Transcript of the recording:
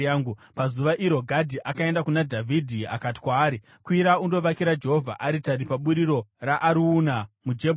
Pazuva iro Gadhi akaenda kuna Dhavhidhi akati kwaari, “Kwira undovakira Jehovha aritari paburiro raArauna muJebhusi.”